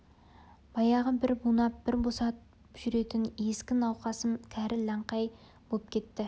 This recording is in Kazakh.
баяғы бір бунап бір босатып жүретін ескі науқасым кәрі лаңқадай боп кетті